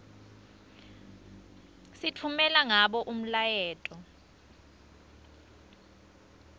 sitfumela ngabo umyaleto